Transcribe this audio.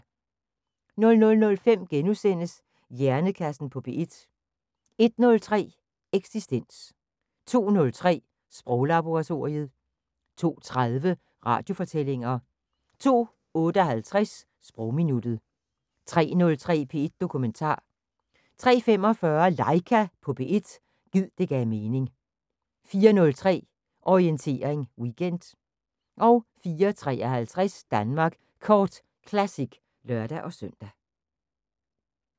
00:05: Hjernekassen på P1 * 01:03: Eksistens 02:03: Sproglaboratoriet 02:30: Radiofortællinger 02:58: Sprogminuttet 03:03: P1 Dokumentar 03:45: LAIKA på P1 – gid det gav mening 04:03: Orientering Weekend 04:53: Danmark Kort Classic (lør-søn)